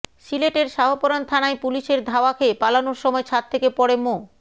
সিলেটের শাহপরান থানায় পুলিশের ধাওয়া খেয়ে পালানোর সময় ছাদ থেকে পড়ে মো